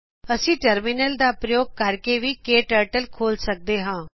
ਅਸੀਂ ਟਰਮਿਨਲ ਦਾ ਪ੍ਰਯੋਗ ਕਰਕੇ ਕਟਰਟਲ ਖੋਲ ਸਕਦੇ ਹਾਂ